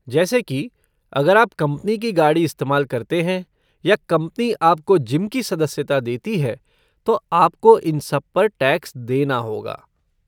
जैसे कि, अगर आप कंपनी की गाड़ी इस्तेमाल करते हैं या कंपनी आपको जिम की सदस्यता देती है तो आपको इन सब पर टैक्स देना होगा।